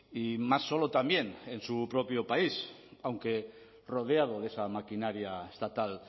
y más solo también en su propio país aunque rodeado de esa maquinaria estatal